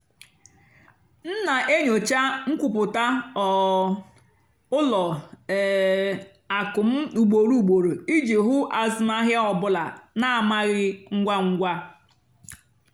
m nà-ènyócha nkwúpụ́tá um ùlọ um àkụ́ m ùgbòrò ùgbòrò ìjì hụ́ àzụ́mahìá ọ́ bụ́là nà-àmàghị́ ngwá ngwá.